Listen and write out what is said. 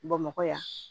Bamakɔ yan